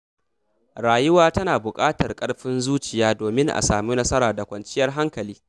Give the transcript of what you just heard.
Rayuwa tana buƙatar ƙarfin zuciya domin a samu nasara da kwanciyar hankali.